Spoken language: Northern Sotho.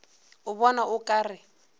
o bona o ka re